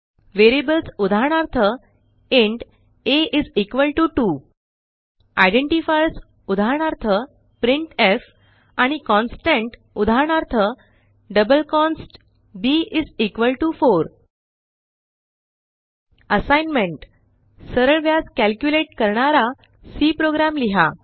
variables उदाहरणार्थ int आ2 identifiers उदाहरणार्थ प्रिंटफ आणि कॉन्स्टंट उदाहरणार्थ डबल कॉन्स्ट b4 असाइनमेंट सरळव्याज कॅल्क्युलेट करणारा सी प्रोग्राम लिहा